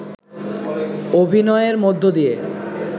অভিনয়ের মধ্য দিয়ে